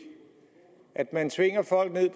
at man tvinger folk ned